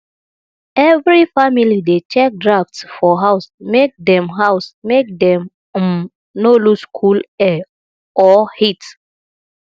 every family dey check drafts for house make dem house make dem um no lose cool air or heat